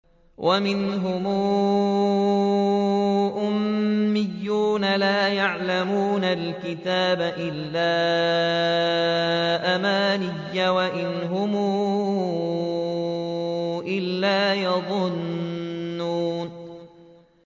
وَمِنْهُمْ أُمِّيُّونَ لَا يَعْلَمُونَ الْكِتَابَ إِلَّا أَمَانِيَّ وَإِنْ هُمْ إِلَّا يَظُنُّونَ